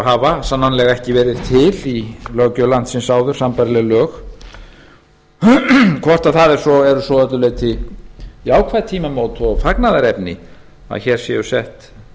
hafa sannanlega ekki verið til í löggjöf landsins áður sambærileg lög hvort það eru svo að öllu leyti ákvæði tímamót og fagnaðarefni að hér séu sett